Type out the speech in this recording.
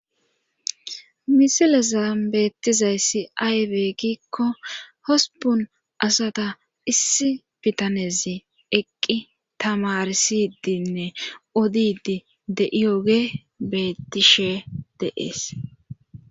Misilezan beettizayssi aybe gikko hosbun asata issi bitanezi eqqi tamarsidinne odidi de7iyoge bettishe deees.